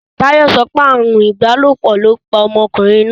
Táyò sopé ààrùn ìbálòpò lóo pa omokùnrin náà.